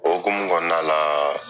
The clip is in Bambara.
O hokumu kɔnɔnalaa